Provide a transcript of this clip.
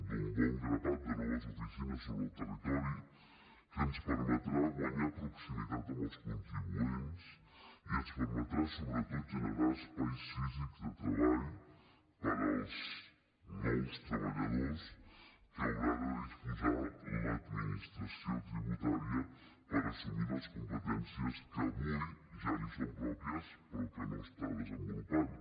d’un bon grapat de noves oficines sobre el territori que ens permetrà guanyar proximitat amb els contribuents i ens permetrà sobretot generar espais físics de treball per als nous treballadors que haurà de disposar l’administració tributària per assumir les competències que avui ja li són pròpies però que no està desenvolupant